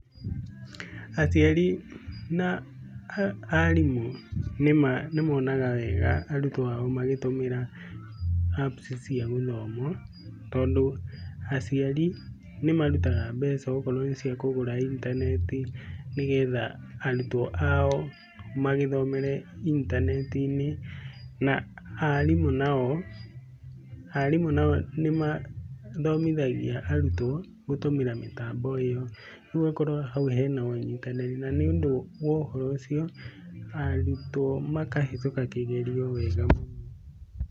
Aciari, na, arimu, nĩmonaga wega arutwo ao magĩtũmĩra apps cia gũthoma, tondũ aciari nĩmarutaga mbeca okorwo nĩciakũgũra intaneti, nĩgetha, arutwo ao, magĩthomere, intaneti-inĩ, na arimũ nao, arimũ nao nĩmathomithagia arutwo gũtũmĩra mĩtambo ĩyo. Riu ũgakora hau hena ũnyitanĩri, na nĩ ũndũ wa ũhoro ũcio, arutwo makahĩtũka kĩgerio wega mũno.